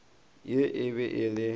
yo e be e le